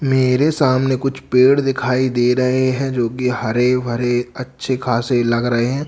मेरे सामने कुछ पेड़ दिखाई दे रहे है जो कि हरे भरे अच्छे खासे लग रहे है।